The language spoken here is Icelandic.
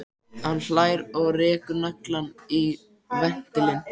Hann hlær og rekur naglann í ventilinn.